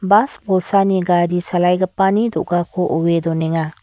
bas bolsani gari chalaigipani do·gako oe donenga.